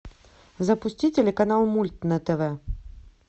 запусти телеканал мульт на тв